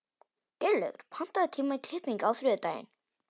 Geirlaugur, pantaðu tíma í klippingu á þriðjudaginn.